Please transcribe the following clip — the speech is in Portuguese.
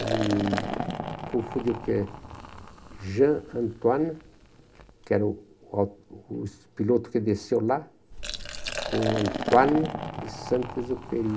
Ele confundiu porque Jean Antoine, que era o o o piloto que desceu lá, com Antoine de Saint-Exupéry.